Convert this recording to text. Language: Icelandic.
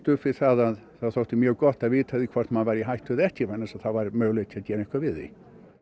upp við að það þótti mjög gott að vita hvort maður væri í hættu eða ekki vegna þess að þá var möguleiki á að gera eitthvað við því